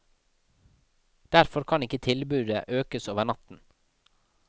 Derfor kan ikke tilbudet økes over natten.